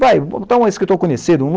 Vai, botar um escritor conhecido.